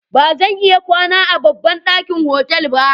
Ba zan iya kwana a babban ɗakin otal ba.